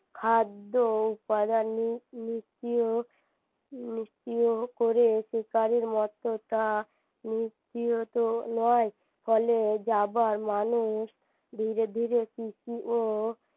খাদ্য ও উপাদানি নীতিয় নীতিয় করে শিকারীর মত তা নীতিয়ত নয় ফলে যাবার মানুষ ধীরে ধীরে কৃষি ও